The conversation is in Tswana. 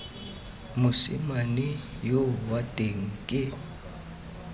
mosimane yoo wa teng ke